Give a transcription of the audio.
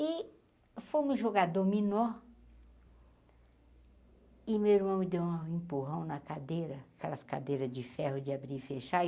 E fomos jogar dominó e meu irmão me deu um empurrão na cadeira, aquelas cadeiras de ferro de abrir e fechar. e